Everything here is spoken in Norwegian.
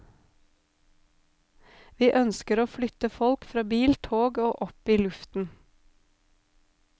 Vi ønsker å flytte folk fra bil, tog og opp i luften.